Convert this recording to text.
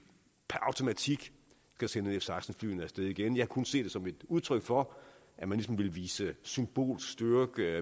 per automatik skal sende f seksten flyene af sted igen jeg kan kun se det som et udtryk for at man ligesom vil vise symbolsk styrke